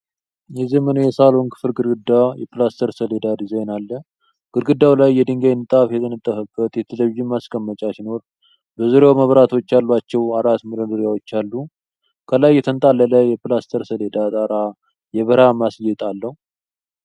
የዘመናዊ የሳሎን ክፍል ግድግዳ የፕላስተር ሰሌዳ ዲዛይን አለ። ግድግዳው ላይ የድንጋይ ንጣፍ የተነጠፈበት የቴሌቪዥን ማስቀመጫ ሲኖር፣ በዙሪያው መብራቶች ያሏቸው አራት መደርደሪያዎች አሉ። ከላይ የተንጣለለ የፕላስተር ሰሌዳ ጣራ የብርሃን ማስጌጥ አለው።